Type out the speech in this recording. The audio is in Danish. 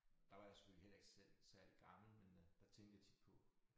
Der var jeg sgu heller ikke selv særlig gammel men øh der tænkte jeg tit på